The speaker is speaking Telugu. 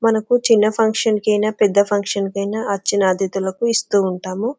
మనకు చిన్న ఫంక్షన్స్ కు అయిన పెద్ద ఫంక్షన్స్ కు అయిన వచ్చిన అతిధులకు ఇస్తూ ఉంటాము.